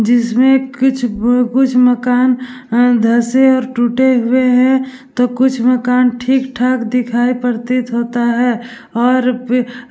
जिसमे कुछ मकान धसे और टूटे हुए है तो कुछ मकान ठीक ठाक दिखाई प्रतीत होता है और --